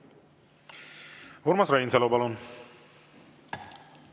Urmas Reinsalu, palun!